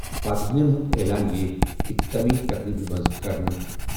فاتحینن ہُنٛد اعلان یِیہِ اختتٲمی تقریٖبہِ منٛز کرنہٕ۔